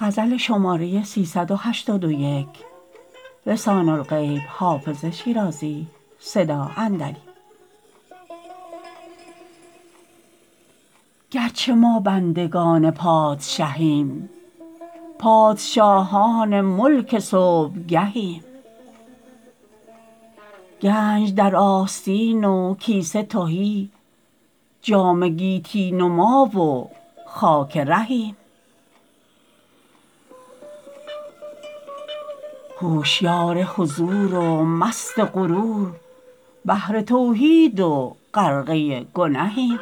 گرچه ما بندگان پادشهیم پادشاهان ملک صبحگهیم گنج در آستین و کیسه تهی جام گیتی نما و خاک رهیم هوشیار حضور و مست غرور بحر توحید و غرقه گنهیم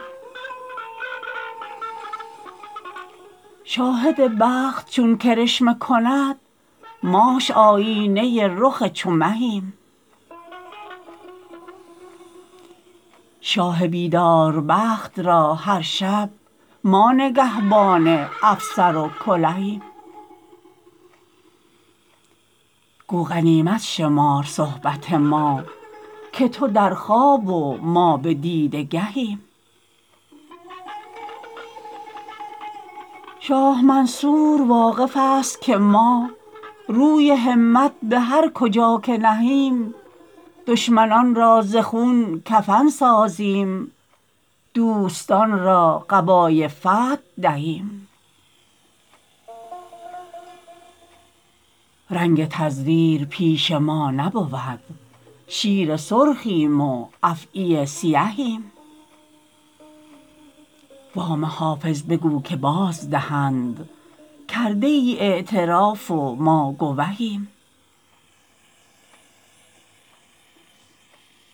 شاهد بخت چون کرشمه کند ماش آیینه رخ چو مهیم شاه بیدار بخت را هر شب ما نگهبان افسر و کلهیم گو غنیمت شمار صحبت ما که تو در خواب و ما به دیده گهیم شاه منصور واقف است که ما روی همت به هر کجا که نهیم دشمنان را ز خون کفن سازیم دوستان را قبای فتح دهیم رنگ تزویر پیش ما نبود شیر سرخیم و افعی سیهیم وام حافظ بگو که بازدهند کرده ای اعتراف و ما گوهیم